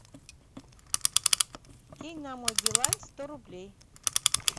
кинь на мой билайн сто рублей